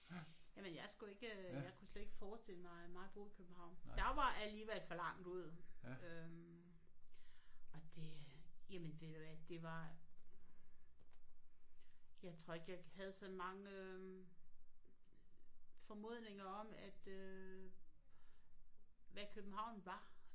Jamen jeg skulle ikke øh jeg kunne slet ikke forestille mig mig bo i København. Der var alligevel for langt ud øh og det øh jamen ved du hvad det var jeg tror ikke jeg havde så mange øh formodninger om at øh hvad København var